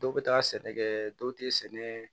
Dɔw bɛ taa sɛnɛ kɛ dɔw tɛ sɛnɛ